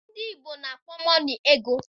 Ndị Igbo na-akpo mọnị ego